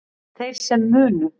Þeir sem munu